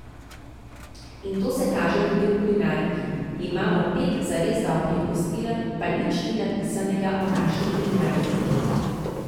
In to se kaže tudi v kulinariki: 'Imamo pet zares dobrih gostiln, pa nič ni napisanega o naši kulinariki.